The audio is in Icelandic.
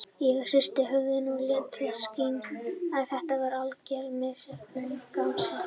Ég hristi höfuðið og lét í það skína að þetta væri algerlega misheppnuð gamansemi.